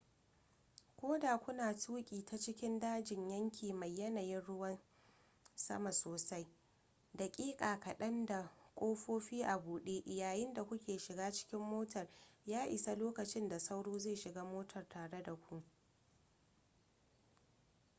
ko da kuna tuki ta cikin dajin yanki mai yanayin ruwan sama sosai daƙiƙa kaɗan da ƙofofi a buɗe yayin da ku ke shiga cikin motar ya isa lokacin da sauro zai shiga motar tare da ku